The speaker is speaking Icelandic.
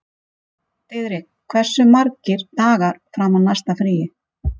Diðrik, hversu margir dagar fram að næsta fríi?